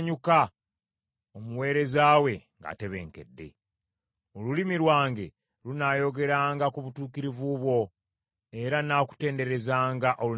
Olulimi lwange lunaayogeranga ku butuukirivu bwo, era nnaakutenderezanga olunaku lwonna.